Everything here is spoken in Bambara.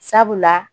Sabula